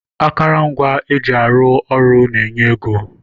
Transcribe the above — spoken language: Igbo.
Akụrụngwa eji arụ ọrụ na-enye ego